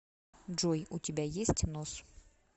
джой у тебя есть нос